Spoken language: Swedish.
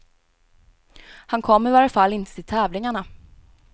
Han kom i varje fall inte till tävlingarna.